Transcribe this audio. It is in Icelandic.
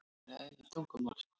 Þannig er eðli tungumálsins.